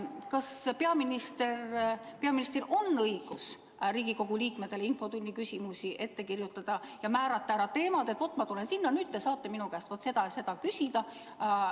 Kas peaministril on õigus Riigikogu liikmetele infotunni küsimusi ette kirjutada ja määrata ära teemad, et ma tulen sinna ja te saate minu käest seda ja seda küsida.